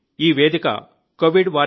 ఈ వేదిక covidwarriors